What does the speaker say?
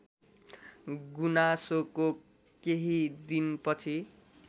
गुनासोको केही दिनपछि